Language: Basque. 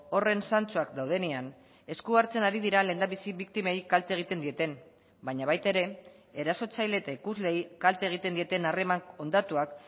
horren zantzuak daudenean esku hartzen ari dira lehendabizi biktimei kalte egiten dieten baina baita ere erasotzaile eta ikusleei kalte egiten dieten harreman hondatuak